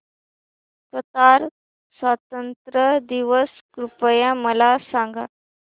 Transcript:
Qatar स्वातंत्र्य दिवस कृपया मला सांगा